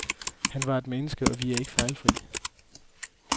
Han var et menneske, og vi er ikke fejlfri.